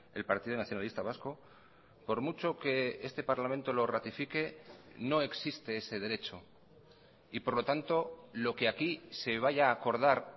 el partido nacionalista vasco por mucho que este parlamento lo ratifique no existe ese derecho y por lo tanto lo que aquí se vaya a acordar